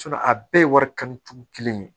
a bɛɛ ye wari kanu cogo kelen ye